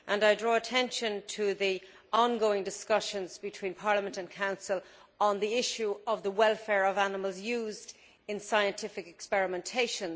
I draw attention to the ongoing discussions between Parliament and the Council on the issue of the welfare of animals used in scientific experimentation.